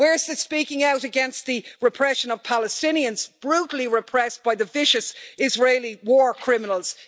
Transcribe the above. Where's the speaking out against the repression of Palestinians brutally repressed by the vicious Israeli war criminals?